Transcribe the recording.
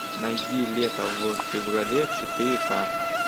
найди лето в феврале четыре ка